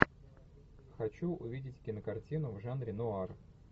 хочу увидеть кинокартину в жанре нуар